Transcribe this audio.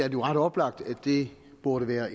jo ret oplagt at det burde være